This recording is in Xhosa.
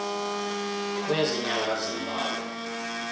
kwezi nyanga zimbalwa